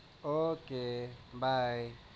Okay bye